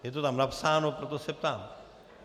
Je to tam napsáno, proto se ptám.